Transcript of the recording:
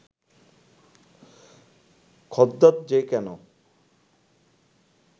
খদ্যোত যে কেন